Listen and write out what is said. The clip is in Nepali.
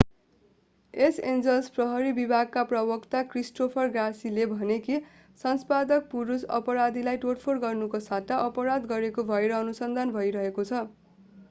लस एन्जलस प्रहरी विभागका प्रवक्ता क्रिस्टोफर गार्सियाले भने कि शंकास्पद पुरूष अपराधीलाई तोडफोड गर्नुको सट्टा अपराध गरेको भएर अनुसन्धान भइरहेको छ